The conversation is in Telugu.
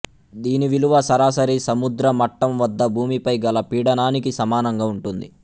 దీని విలువ సరాసరి సముద్ర మట్టం వద్ద భూమిపై గల పీడనానికి సమానంగా ఉంటుంది